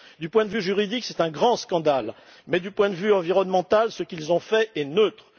D'un point de vue juridique, c'est un grand scandale mais d'un point de vue environnemental, ce qu'ils ont fait est neutre.